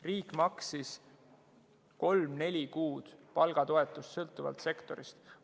Riik maksis kolm-neli kuud palgatoetust, sõltuvalt sektorist.